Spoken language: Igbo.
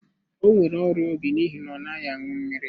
O nwere ọrịa obi n'ihi na ọ naghị aṅụ mmiri.